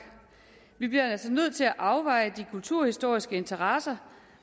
vi bliver altså nødt til at afveje de kulturhistoriske interesser